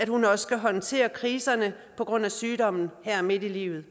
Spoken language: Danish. hun også skulle håndtere kriserne på grund af sygdommen her midt i livet